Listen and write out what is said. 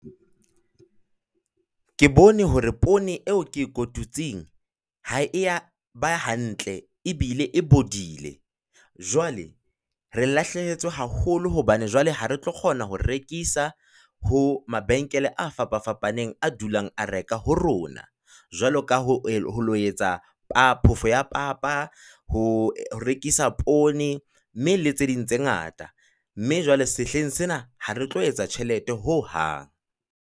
Ke bone hore poone eo ke e kotutseng ha e yaba hantle ebile e bodile. Jwale re lahlehetswe haholo hobane jwale ha re tlo kgona ho rekisa ho mabenkele a fapafapaneng, a dulang a reka ho rona, jwalo ka ho etsa phoofo papa, ho rekisa poone le tse ding tse ngata, mme jwale sehleng sena ha re tlo etsa tjhelete ho hang.